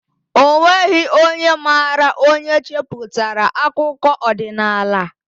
O nweghị onye maara onye cheputara akụkọ odinaala